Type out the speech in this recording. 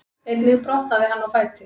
Einnig brotnaði hann á fæti